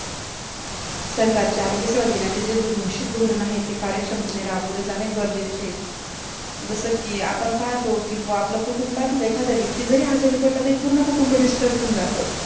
सरकारचे आरोग्य सेवा दिनाचे जे घोषित धोरण आहे, ते कार्यक्षमतेने राबवले जाणे गरजेचे आहे. जसं की आपण पाहतो की आपल्या कुटुंबातील एकही व्यक्ती आजारी पडला तर पूर्ण कुटुं disturb होऊन जातं.